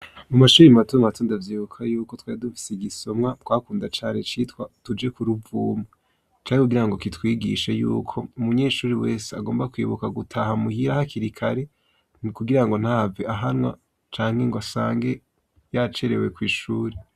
Mu mashure mato mato ndavyibuka yuko twari dufise igisomwa twakunda cane citwa" tuje ku ruvuma". Cari kugirango kitwigishe yuko umunyeshure wese agomba kwibuka gutaha muhira hakiri kare kugirango ntahave ahanwa canke ngo asange yacerewe kw'ishure.